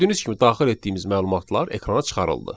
Gördüyünüz kimi daxil etdiyimiz məlumatlar ekrana çıxarıldı.